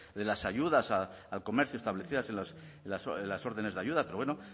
de las ayudas al comercio establecidas en las órdenes de ayuda pero bueno